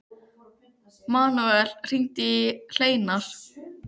Manuel, hringdu í Hleinar.